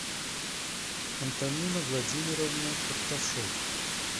антонина владимировна карташева